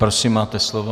Prosím, máte slovo.